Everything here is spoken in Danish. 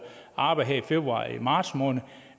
arbejde her i februar og marts måned